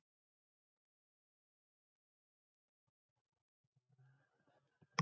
Og hvað fá hlustendur að heyra á morgun?